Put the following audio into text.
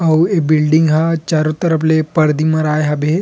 अऊ ए बिल्डिंग ह चारो तरफ से पर्दी मराये हवे।